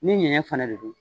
Ni ɲɛɲɛ fana de don.